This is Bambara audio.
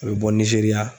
A bɛ bɔ nizeriya